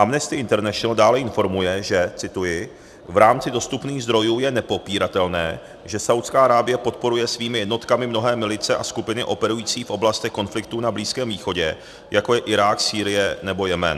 Amnesty International dále informuje, že - cituji: "V rámci dostupných zdrojů je nepopíratelné, že Saúdská Arábie podporuje svými jednotkami mnohé milice a skupiny operující v oblastech konfliktů na Blízkém východě, jako je Irák, Sýrie nebo Jemen."